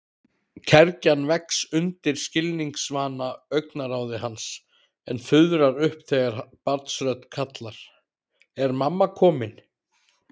Kergjan vex undir skilningsvana augnaráði hans en fuðrar upp þegar barnsrödd kallar: Er mamma komin?